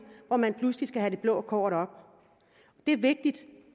og man pludselig skal have det blå kort op det er vigtigt